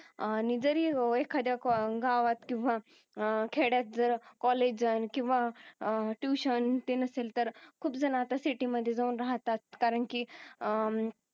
अह जरी एखाद्या गावात किंवा अह खेड्यात जर कॉलेज जर किंवा अह ट्युशन ते नसेल तर खूप जण आता सिटी मध्ये जाऊन राहतात कारण की अह